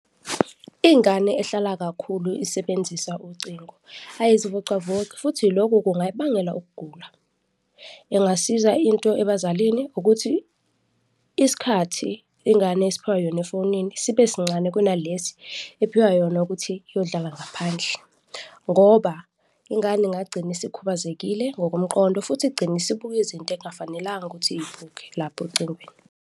Ingane ehlala kakhulu isebenzisa ucingo, ayizivocavoci futhi loku kungayikubangela ukugula. Engasiza into ebazalini ukuthi isikhathi ingane esiphiwa yona efonini sibe sincane kunalesi ephiwa yona ukuthi iyodlala ngaphandle ngoba ingane ingagcina isikhubazekile ngokomqondo futhi igcine isibuka izinto ekungafanelanga ukuthi izibuke lapho ocingweni.